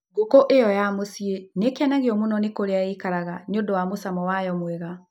Ngũkũ ĩyo ya mũciĩ nĩ ĩkenagio mũno nĩ kũrĩa ĩikaraga nĩ ũndũ wa mũcamo wayo mwega.